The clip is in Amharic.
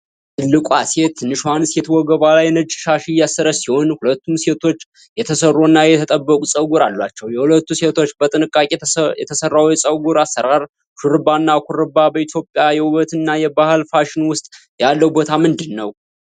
ትልቋ ሴት ትንሽዋን ሴት ወገቧ ላይ ነጭ ሻሽ እያሰረች ሲሆን፣ ሁለቱም ሴቶች የተሠሩ እና የተጠበቁ ፀጉር አላቸው። የሁለቱ ሴቶች በጥንቃቄ የተሰራው የፀጉር አሠራር (ሹሩባ እና ኩርባ) በኢትዮጵያ የውበት እና የባህል ፋሽን ውስጥ ያለው ቦታ ምንድን ነው?